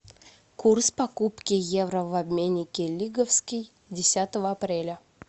курс покупки евро в обменнике лиговский десятого апреля